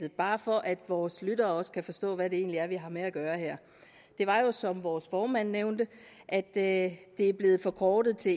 bare for at vores lyttere også kan forstå hvad det egentlig er vi har med at gøre her det var jo som vores formand nævnte at at det er blevet forkortet til